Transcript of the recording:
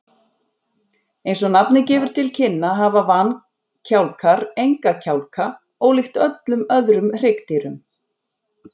Eins og nafnið gefur til kynna hafa vankjálkar enga kjálka, ólíkt öllum öðrum hryggdýrum.